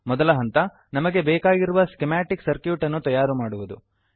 ಮೊದಲ ಹಂತ ನಮಗೆ ಬೇಕಾಗಿರುವ ಸ್ಕಿಮಾಟಿಕ್ ಸರ್ಕ್ಯೂಟ್ ಅನ್ನು ತಯಾರುಮಾಡುವುದು